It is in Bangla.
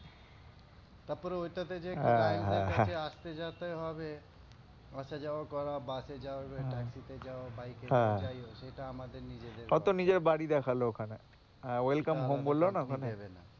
তারপরে ওটাতে যে client এর কাছে আসতে যেতে হবে আসা যাওয়া করা bus এ যাও taxi তে যাও bike এ যাও যাই হোক এটা আমাদের নিজেদের ব্যাপার, ওতো নিজের বাড়ি দেখলো ওখানে welcome home বললো না ওখানে,